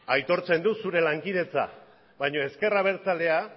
aitortzen dut zure lankidetza baina ezker abertzalea